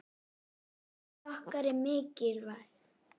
Missir okkar er mikill.